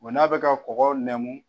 n'a bɛ ka kɔgɔ nɛmu.